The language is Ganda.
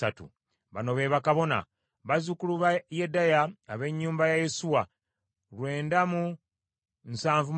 Bano be bakabona: bazzukulu ba Yedaya ab’ennyumba ya Yesuwa lwenda mu nsavu mu basatu (973),